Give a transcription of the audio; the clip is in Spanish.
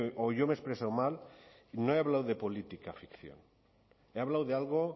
o yo me he expresado mal no he hablado de política ficción he hablado de algo